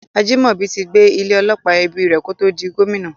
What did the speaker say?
Ajimobi ti gbé ilé - ọlọ́pọ̀ ẹbí rí kótó di Gómìnà.